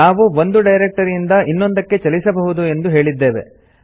ನಾವು ಒಂದು ಡೈರೆಕ್ಟರಿ ಇಂದ ಇನ್ನೊಂದಕ್ಕೆ ಚಲಿಸಬಹುದು ಎಂದು ಹೇಳಿದ್ದೇವೆ